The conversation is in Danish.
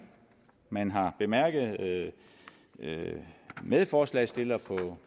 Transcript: man har bemærket medforslagsstillere på